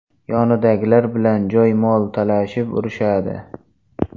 Yonidagilar bilan joy, mol talashib urishadi.